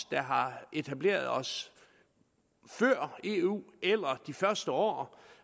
der har etableret os før eu eller i de første år